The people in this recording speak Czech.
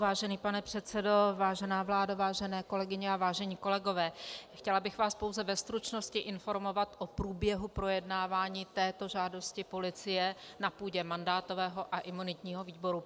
Vážený pane předsedo, vážená vládo, vážené kolegyně a vážení kolegové, chtěla bych vás pouze ve stručnosti informovat o průběhu projednávání této žádosti policie na půdě mandátového a imunitního výboru.